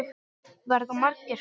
Verða margir?